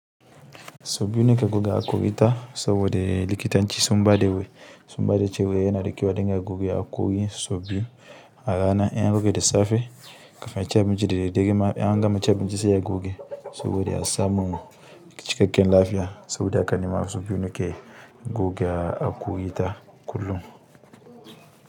So biyu ke guga aku ita sobo de likitan ci sun bade we sun bade ceweye na likiwa dinga guge hokori so biyu a rana en guga de safe kafin a ci abinci da daddare ma an gama ci abinci sa ya guga sobo de a samun cikaken lafiya sobo de a ka ni ma so biyu mi ke guge haƙori ta kullum.